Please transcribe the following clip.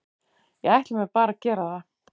Ég ætla mér bara að gera það.